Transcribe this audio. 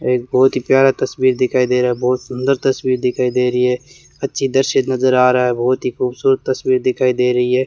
एक बहोत ही प्यारा तस्वीर दिखाई दे रहा है बहोत सुंदर तस्वीर दिखाई दे रही है अच्छी दृश्य नजर आ रहा है बहोत ही खूबसूरत तस्वीर दिखाई दे रही है।